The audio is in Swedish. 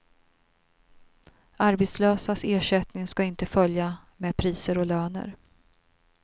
Arbetslösas ersättning ska inte följa med priser och löner.